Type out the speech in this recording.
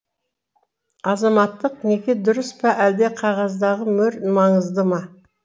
азаматтық неке дұрыс па әлде қағаздағы мөр маңызды ма